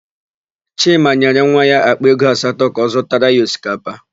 Chima nyere nwa ya àkpà ego asatọ ka ọ zụtara ya osikapa.